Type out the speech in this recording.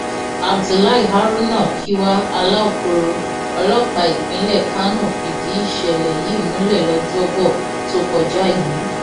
sp abdullahi haruna kiwa alaukoro ọlọpàá ìpínlẹ kánò fìdí ìṣẹlẹ yìí múlẹ lọjọbọ tó kọjá yìí